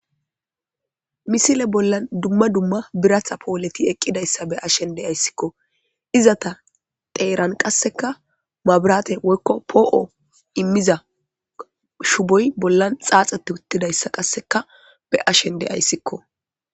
misile bollan dumma dumma biratha pooleti eqqidayssa be ashen de ayssikko izata teeran qasseka maabirate woykko poo7o immiza shuboy bollan xaaxete uttidayssa qasseka be ashen de ayssikko